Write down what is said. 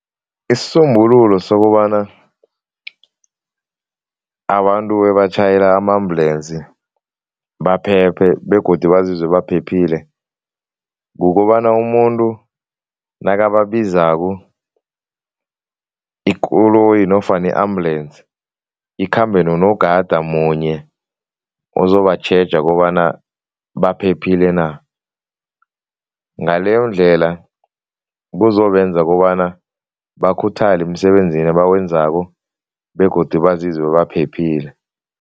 Isisombululo sokobana abantu ebatjhayela ama-ambulance baphephe begodu bazizwe baphephile, kukobana umuntu nakababizako, ikoloyi nofana i-ambulance ikhambe nonogada munye ozobatjheja kobana baphephile na. Ngaleyondlela kuzobenza kobana bakhuthale emsebenzini abawenzako begodu bazizwe baphephile.